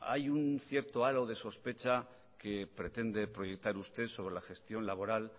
hay un cierto halo de sospecha que pretende proyectar usted sobre la gestión laboral